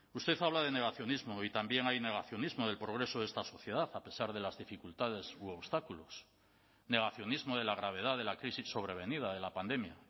usted habla de negacionismo y también hay negacionismo del progreso de esta sociedad a pesar de las dificultades u obstáculos negacionismo de la gravedad de la crisis sobrevenida de la pandemia